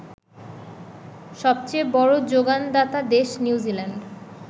সবচেয়ে বড় যোগানদাতা দেশ নিউজিল্যান্ড